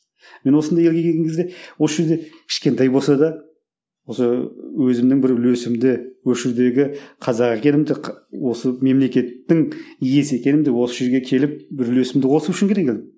мен осында елге келген кезде осы жерде кішкентай болса да осы өзімнің бір үлесімді осы жердегі қазақ екенімді осы мемлекеттің иесі екенімді осы жерге келіп бір үлесімді қосу үшін ғана келгенмін